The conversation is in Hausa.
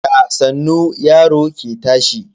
Da sannu yaro ke tashi.